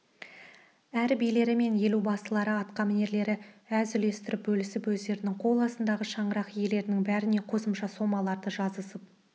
әр билері мен елубасылары атқамінерлері әз үлестерін бөлісіп өздерінің қол астындағы шаңырақ иелерінің бәріне қосымша сомаларды жазысып